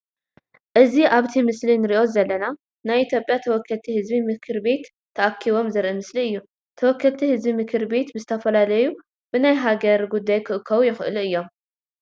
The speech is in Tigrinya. እዚ ኣብቲ ምስሊ እንርእዮ ዘለና ናይ ኢትዮጵያ ተወከልቲ ህዝቢ ምክር ቤት ተኣኪቦም ዘርኢ ምስሊ እዩ። ተወከልቲ ህዝቢ ምክር ቤት ብዝተፈላለዩ ብናይ ሃገር ጉዳይ ክእከቡ ይክእሉ እዮም።